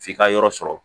F'i ka yɔrɔ sɔrɔ